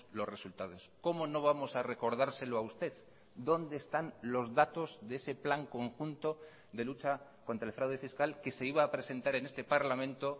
los resultados cómo no vamos a recordárselo a usted dónde están los datos de ese plan conjunto de lucha contra el fraude fiscal que se iba a presentar en este parlamento